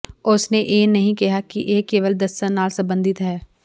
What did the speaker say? ਉਸ ਨੇ ਇਹ ਨਹੀਂ ਕਿਹਾ ਕਿ ਇਹ ਕੇਵਲ ਦੱਸਣ ਨਾਲ ਸੰਬੰਧਿਤ ਹੈ